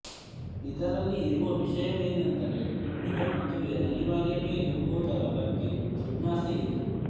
ಇದರಲ್ಲಿ ಇರುವ ವಿಷಯವೇನೆಂದರೆ ಹೆಣ್ಣಿಗೆ ಮದುವೆ ಅನಿವಾರ್ಯವೆ ಎಂಬುದರ ಬಗ್ಗೆ ಜಿಜ್ಞಾಸೆ ಇದೆ